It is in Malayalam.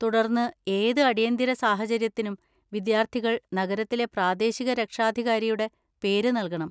തുടർന്ന്, ഏത് അടിയന്തര സാഹചര്യത്തിനും വിദ്യാർത്ഥികൾ നഗരത്തിലെ പ്രാദേശിക രക്ഷാധികാരിയുടെ പേര് നൽകണം.